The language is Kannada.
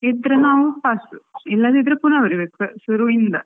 ಇದ್ರೆ ನಾವ್ pass ಇಲ್ಲದಿದ್ರೆ ಪುನಾ ಬರೀಬೇಕು ಶುರುವಿಂದ